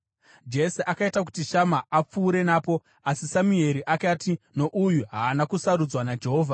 Jese akaita kuti Shama apfuure napo, asi Samueri akati, “Nouyu haana kusarudzwa naJehovha.”